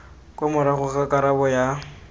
kwa morago ga karabo ya